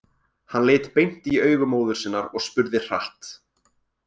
Hann leit beint í augu móður sinnar og spurði hratt: